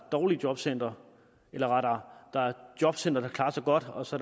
dårlige jobcentre eller rettere der er jobcentre der klarer sig godt og så